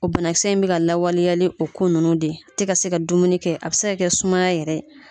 O banakisɛ in bɛ ka lawaleyali nin o ko ninnu de tɛ ka se ka dumuni kɛ a bɛ se ka kɛ sumaya yɛrɛ.